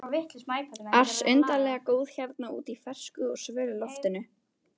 ars undarlega góð hérna úti í fersku og svölu loftinu.